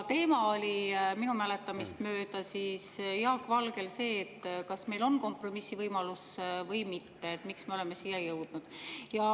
Teema oli minu mäletamist mööda Jaak Valgel see, kas meil on kompromissivõimalus või mitte, et miks me oleme siia jõudnud.